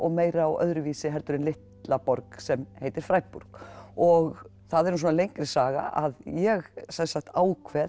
meira og öðruvísi heldur en litla borg sem heitir Freiburg og það er nú svona lengri saga að ég sem sagt ákveð